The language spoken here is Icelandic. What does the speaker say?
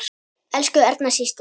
Elsku Erna systir.